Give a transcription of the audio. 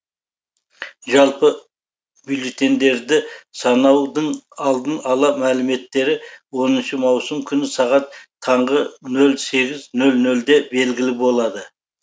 жалпы бюллетеньдерді санаудың алдын ала мәліметтері оныншы маусым күні сағат таңғы нөл сегіз нөл нөлде белгілі болады